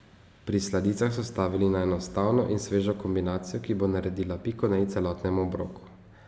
Pri sladicah so stavili na enostavno in svežo kombinacijo, ki bo naredila piko na i celotnemu obroku.